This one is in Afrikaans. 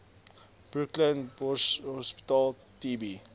brooklyn borshospitaal tb